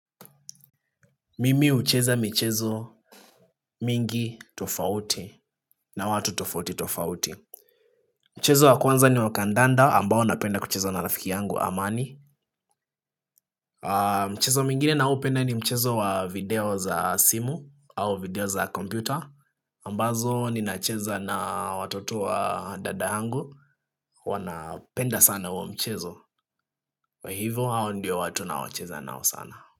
Mimi hucheza michezo mingi tofauti na watu tofauti tofauti. Mchezo wa kwanza ni wa kandanda ambao napenda kuchezo na rafiki yangu amani. Mchezo mwingine na hupenda ni mchezo wa video za simu au video za kompyuta ambazo ninacheza na watoto wa dada yangu wana penda sana huo mchezo. Hivyo hao ndiyo watu na wacheza nao sana.